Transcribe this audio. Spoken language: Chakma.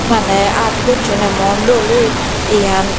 maney art gocchonde emon dol oye eyan.